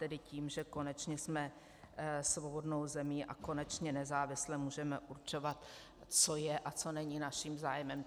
Tedy tím, že konečně jsme svobodnou zemí a konečně nezávisle můžeme určovat, co je a co není naším zájmem.